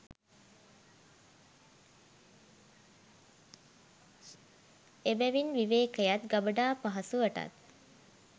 එබැවින් විවේකයත් ගබඩා පහසුවටත්